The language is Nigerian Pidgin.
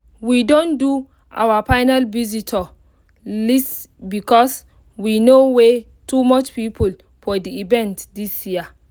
we don do our final visitor list because we no way too much people for the event this year